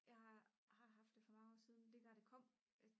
jeg har haft det for mange år siden lige da det kom